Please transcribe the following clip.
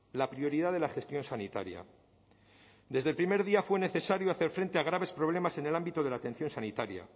la prioridad de la gestión sanitaria desde el primer día fue necesario hacer frente a graves problemas en el ámbito de la atención sanitaria